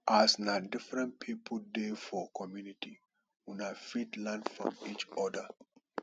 as na different pipo dey for community una fit learn from each oda